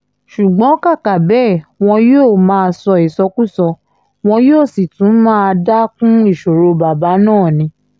ṣùgbọ́n kàkà bẹ́ẹ̀ wọn yóò má sọ ìsọkúsọ wọn yóò sì tún máa dá kún ìṣòro bàbá náà ni